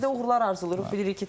İşinizdə uğurlar arzulayırıq.